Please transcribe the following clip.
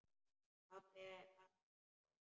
Pabbi var alltaf ógn.